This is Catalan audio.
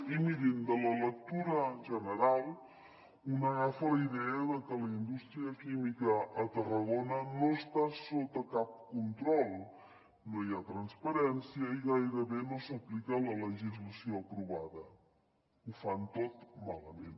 i mirin de la lectura general un agafa la idea de que la indústria química a tarragona no està sota cap control no hi ha transparència i gairebé no s’hi aplica la legislació aprovada ho fan tot malament